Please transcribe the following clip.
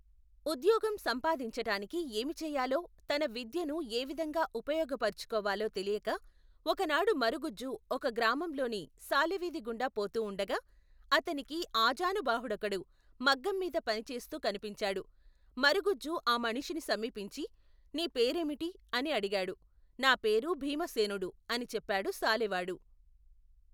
ఉద్యోగం సంపాదించటానికి ఏమి చెయ్యాలో, తన విద్యను ఏ విధంగా ఉపయోగపరుచుకోవాలో తెలియక, ఒకనాడు మరుగుజ్జు ఒక గ్రామంలోని సాలెవీధి గుండా పోతూఉండగా, అతనికి ఆజానుబాహుడోకడు మగ్గంమీద పనిచేస్తూ కనిపించాడు. మరగుజ్జు ఆ మనిషిని సమీపించి, నీ పేరేమిటి? అని అడిగాడు. నా పేరు భీమసేనుడు, అని చెప్పాడు సాలెవాడు.